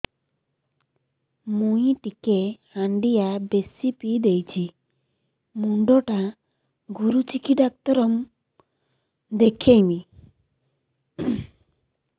ମୁଇ ଟିକେ ହାଣ୍ଡିଆ ବେଶି ପିଇ ଦେଇଛି ମୁଣ୍ଡ ଟା ଘୁରୁଚି କି ଡାକ୍ତର ଦେଖେଇମି